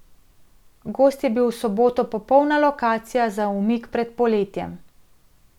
Gozd je bil v soboto popolna lokacija za umik pred poletjem.